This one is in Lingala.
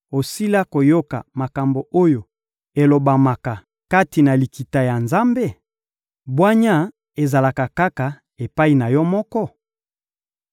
Osila koyoka makambo oyo elobamaka kati na Likita ya Nzambe? Bwanya ezalaka kaka epai na yo moko?